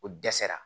O dɛsɛra